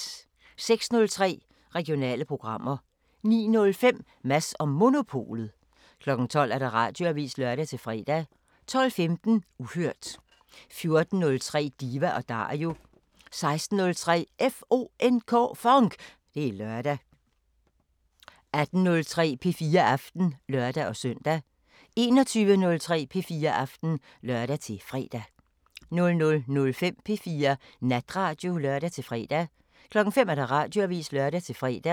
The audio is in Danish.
06:03: Regionale programmer 09:05: Mads & Monopolet 12:00: Radioavisen (lør-fre) 12:15: Uhørt 14:03: Diva & Dario 16:03: FONK! Det er lørdag 18:03: P4 Aften (lør-søn) 21:03: P4 Aften (lør-fre) 00:05: P4 Natradio (lør-fre) 05:00: Radioavisen (lør-fre)